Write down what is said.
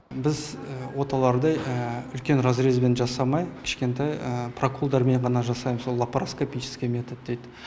біз оталарды үлкен разрезмен жасамай кішкентай проколдармен ғана жасайм сол лапроскопический метод дейді